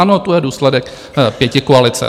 Ano, to je důsledek pětikoalice.